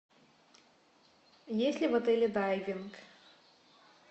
есть ли в отеле дайвинг